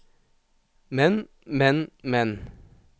men men men